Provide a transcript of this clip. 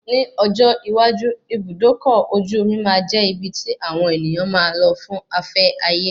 Ni ọjọ́ iwájú, Ibùdókọ̀ ojú omi máa jẹ́ ibi tí àwọn ènìyàn máa lò fún afẹ́ ayé